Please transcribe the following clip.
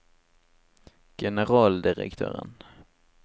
generaldirektøren